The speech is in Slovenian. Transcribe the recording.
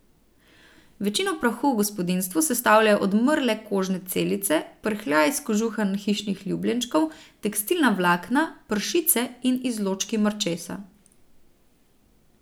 Večino prahu v gospodinjstvu sestavljajo odmrle kožne celice, prhljaj s kožuha hišnih ljubljenčkov, tekstilna vlakna, pršice in izločki mrčesa.